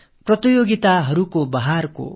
இனி போட்டிகள் பெருக்கெடுக்கும்